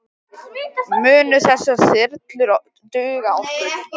Munu þessar þyrlur duga okkur?